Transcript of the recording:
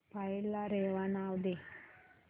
file ला रेवा नाव दे